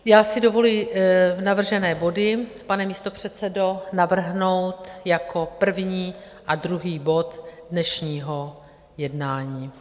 Já si dovoluji navržené body, pane místopředsedo, navrhnout jako první a druhý bod dnešního jednání.